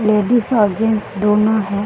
Ladies और gents दोनों है।